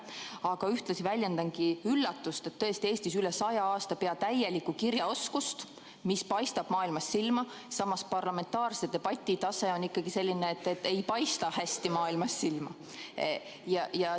Aga ühtlasi väljendangi üllatust, et Eestis on üle saja aasta pea täielikku kirjaoskust, mis paistab maailmas silma, samas on parlamentaarse debati tase ikkagi selline, et ei paista hästi maailmas silma.